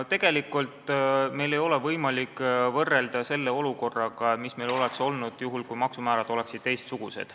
Tegelikult ei ole meil võimalik võrrelda praegust olukorda sellega, mis oleks olnud siis, kui maksumäärad oleksid teistsugused.